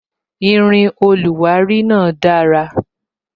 Irin oluwari náà dara